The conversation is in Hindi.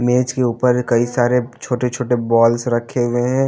मेज के ऊपर कई सारे छोटे छोटे बॉल्स रखे हुए हैं।